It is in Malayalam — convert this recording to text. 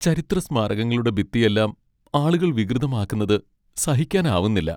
ചരിത്രസ്മാരകങ്ങളുടെ ഭിത്തിയെല്ലാം ആളുകൾ വികൃതമാക്കുന്നത് സഹിക്കാനാവുന്നില്ല.